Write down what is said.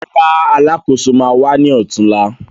Rárá, Alákóso ma wá ní ọ̀túnla